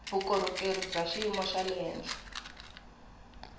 vukorhokeri bya xiyimo xa le